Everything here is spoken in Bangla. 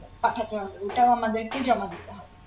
পাঠাতে হবে ওটা আমাদেরকেই জমা দিতে হবে